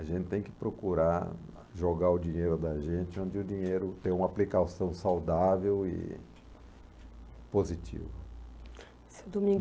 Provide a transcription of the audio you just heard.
A gente tem que procurar jogar o dinheiro da gente onde o dinheiro tem uma aplicação saudável e positiva. Seu